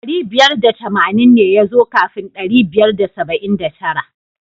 Dari biyar da tamanin ne ya zo kafin ɗari biyar da saba'in da tara.